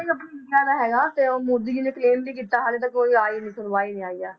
India ਦਾ ਹੈਗਾ ਤੇ ਉਹ ਮੋਦੀ ਜੀ ਨੇ claim ਵੀ ਕੀਤਾ ਹਾਲੇ ਤੱਕ ਕੋਈ ਆਈ ਨੀ ਸੁਣਵਾਈ ਨੀ ਆਈ ਹੈ।